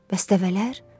Bəs dəvələr?